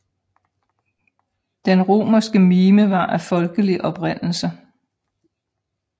Den romerske mime var af folkelig oprindelse